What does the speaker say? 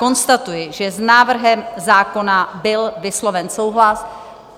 Konstatuji, že s návrhem zákona byl vysloven souhlas.